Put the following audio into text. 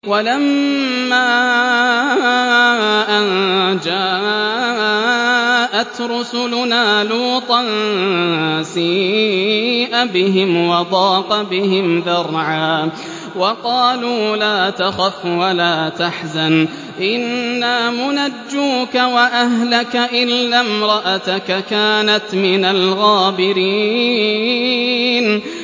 وَلَمَّا أَن جَاءَتْ رُسُلُنَا لُوطًا سِيءَ بِهِمْ وَضَاقَ بِهِمْ ذَرْعًا وَقَالُوا لَا تَخَفْ وَلَا تَحْزَنْ ۖ إِنَّا مُنَجُّوكَ وَأَهْلَكَ إِلَّا امْرَأَتَكَ كَانَتْ مِنَ الْغَابِرِينَ